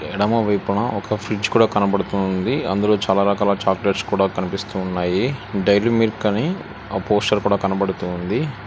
ఎడమ వైపున ఒక ఫ్రిడ్జ్ కూడా కనబడుతుంది అందులో చాలా రకాల చాక్లెట్స్ కూడా కనిపిస్తూ ఉన్నాయి డైరీ మిల్క్ అని ఆ పోస్టర్ కూడా కనబడుతూ ఉంది.